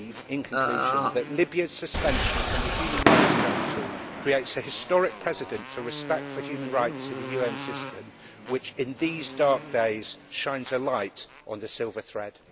In conclusion, I believe that Libya's suspension from the Human Rights Council creates a historic precedent for respect for human rights in the UN system, which, in these dark days, shines a light on the silver thread.